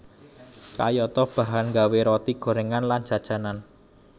Kayata bahan nggawe Roti gorengan lan jajanan